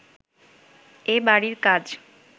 এ বাড়ির কাজ